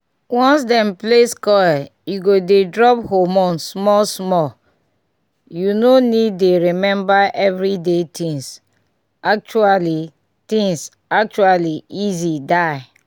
once dem place coil e go dey drop hormone small small— you no need dey remember everyday things actually things actually easy die!